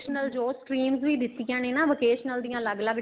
ਜੋ streams ਵੀ ਦਿੱਤੀਆਂ ਨੇ ਨਾ vocational ਦੀਆ ਅਲੱਗ ਅਲੱਗ